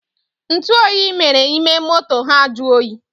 ntuoyi mere ime moto ha jụọ oyi